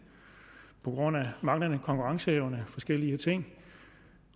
på grund af manglende konkurrenceevne og forskellige ting